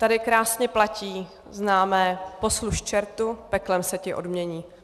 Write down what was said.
Tady krásně platí známé "posluž čertu, peklem se ti odmění".